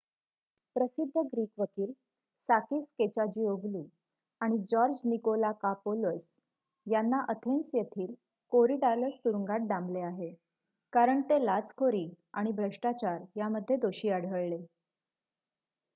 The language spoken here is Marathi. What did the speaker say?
प्रसिद्ध ग्रीक वकील साकीस केचाजीओग्लू आणि जॉर्ज निकोलाकापोलस यांना अथेन्स येथील कोरीडालस तुरुंगात डांबले आहे कारण ते लाचखोरी आणि भ्रष्टाचार यामध्ये दोषी आढळले